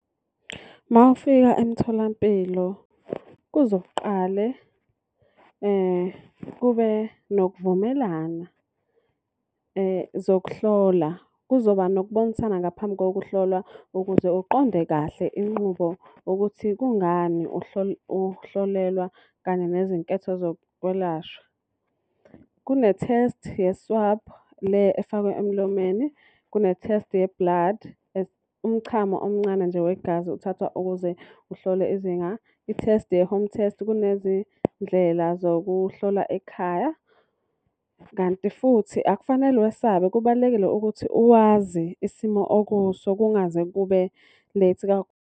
Uma ufika emtholampilo kuzoqale kube nokuvumelana zokuhlola. Kuzoba nokubonisana ngaphambi kokuhlolwa ukuze uqonde kahle Inqubo ukuthi kungani uhlolelwa kanye nezinketho zokwelashwa. Kune-test ye-swab le efakwa emlomeni. Kune-test ye-blood. Umchamo omncane nje wegazi uthathwa ukuze uhlole izinga. I-test ye-home test kunezindlela zokuhlola ekhaya. Kanti futhi akufanele wesabe kubalulekile ukuthi uwazi isimo okuso kungaze kube late.